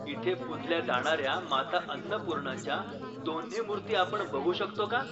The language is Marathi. इथे पूजल्या जाणार्या माता अन्नपूर्णाच्या दोन्ही मूर्ती आपण बघू शकतो का?